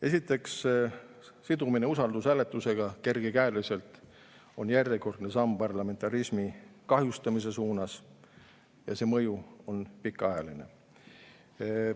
Esiteks, kergekäeline sidumine usaldushääletusega on järjekordne samm parlamentarismi kahjustamise suunas ja see mõju on pikaajaline.